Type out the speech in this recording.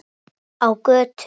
Á götu.